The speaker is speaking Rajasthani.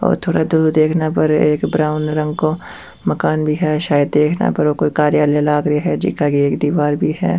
और थोड़ा दूर देखना पर एक ब्राउन रंग को मकान भी है शायद देखने पर वो एक कार्यालय लाग रे है जीका के एक दिवार भी है।